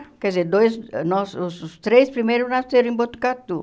Quer dizer, dois nós os três primeiros nasceram em Botucatu.